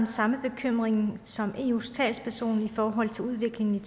samme bekymring som eus talsperson i forhold til udviklingen i